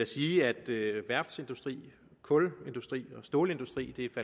sige at værftsindustri kulindustri og stålindustri